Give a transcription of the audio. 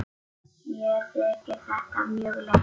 Mér þykir þetta mjög leitt.